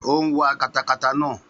Ó ń wa katakata naa